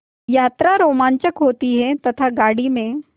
यात्रा रोमांचक होती है तथा गाड़ी में